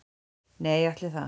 Nei, ætli það.